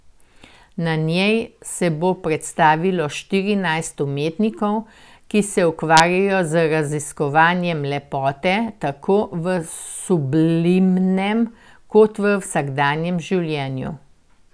Na njej se bo predstavilo štirinajst umetnikov, ki se ukvarjajo z raziskovanjem lepote tako v sublimnem kot v vsakdanjem življenju.